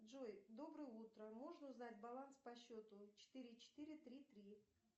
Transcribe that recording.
джой доброе утро можно узнать баланс по счету четыре четыре три три